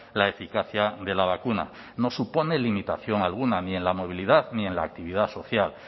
la eficacia de la vacuna no supone limitación alguna ni en la movilidad ni en la actividad social